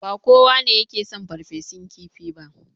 Ba kowa ne yake son farfesun kifi ba.